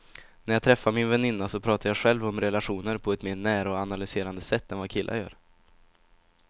När jag träffar min väninna pratar jag själv om relationer på ett mer nära och analyserande sätt än vad killar gör.